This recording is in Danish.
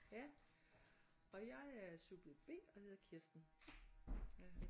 Ja og jeg er subjekt B og hedder Kirsten